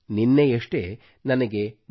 ನಿನ್ನೆಯಷ್ಟೇ ನನಗೆ ಡಿ